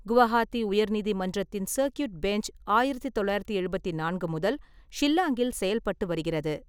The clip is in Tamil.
குவஹாத்தி உயர்நீதிமன்றத்தின் சர்க்யூட் பெஞ்ச் ஆயிரத்தி தொள்ளாயிரத்தி எழுபத்தி நான்கு முதல் ஷில்லாங்கில் செயல்பட்டு வருகிறது.